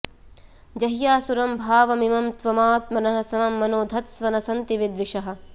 जह्यासुरं भावमिमं त्वमात्मनः समं मनो धत्स्व न सन्ति विद्विषः